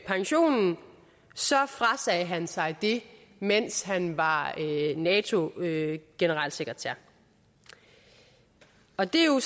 pensionen frasagde han sig det mens han var nato generalsekretær og det er jo